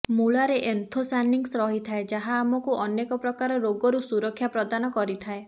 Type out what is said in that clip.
ମୂଳାରେ anthocyanins ରହିଥାଏ ଯାହା ଆମକୁ ଅନେକ ପ୍ରକାର ରୋଗରୁ ସୁରକ୍ଷା ପ୍ରଦାନ କରିଥାଏ